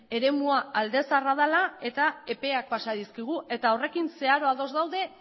eremua alde zaharra dela eta epeak pasa dizkigu eta horrekin zeharo ados daude